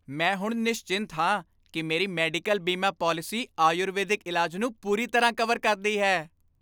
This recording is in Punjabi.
ਮੈਂ ਹੁਣ ਨਿਸਚਿੰਤ ਹਾਂ ਕਿ ਮੇਰੀ ਮੈਡੀਕਲ ਬੀਮਾ ਪਾਲਿਸੀ ਆਯੁਰਵੈਦਿਕ ਇਲਾਜ ਨੂੰ ਪੂਰੀ ਤਰ੍ਹਾਂ ਕਵਰ ਕਰਦੀ ਹੈ।